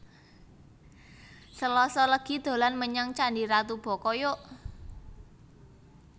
Selasa legi dolan menyang candi ratu boko yok